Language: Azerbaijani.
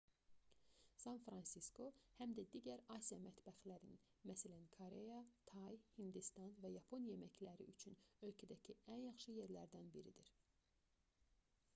san-fransisko həm də digər asiya mətbəxlərinin məs koreya tay hindistan və yapon yeməkləri üçün ölkədəki ən yaxşı yerlərdən biridir